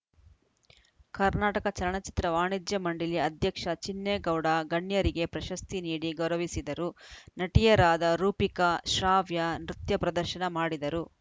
ಕರ್ನಾಟಕ ಚಲನ ಚಿತ್ರ ವಾಣಿಜ್ಯ ಮಂಡಳಿ ಅಧ್ಯಕ್ಷ ಚಿನ್ನೇಗೌಡ ಗಣ್ಯರಿಗೆ ಪ್ರಶಸ್ತಿ ನೀಡಿ ಗೌರವಿಸಿದರು ನಟಿಯರಾದ ರೂಪಿಕಾ ಶ್ರಾವ್ಯ ನೃತ್ಯ ಪ್ರದರ್ಶನ ಮಾಡಿದರು